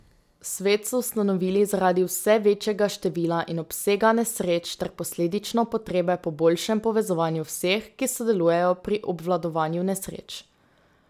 Svet so ustanovili zaradi vse večjega števila in obsega nesreč ter posledično potrebe po boljšem povezovanju vseh, ki sodelujejo pri obvladovanju nesreč.